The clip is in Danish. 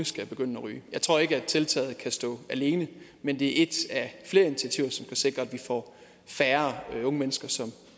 skal begynde at ryge jeg tror ikke at tiltaget kan stå alene men det er et af flere initiativer som kan sikre at færre unge mennesker